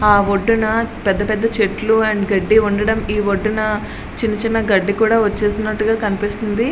ఆ ఒడ్డున పెద్ద పెద్ద చెట్లు అండ్ గడ్డి ఉండడం ఈ వడ్డిన చిన్న చిన్న గడ్డి వచ్చేసినట్టు కనిపిస్తుంది.